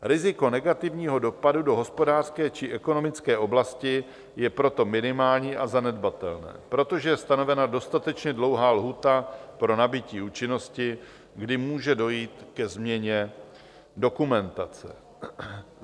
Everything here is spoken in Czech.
Riziko negativního dopadu do hospodářské či ekonomické oblasti je proto minimální a zanedbatelné, protože je stanovena dostatečně dlouhá lhůta pro nabytí účinnosti, kdy může dojít ke změně dokumentace.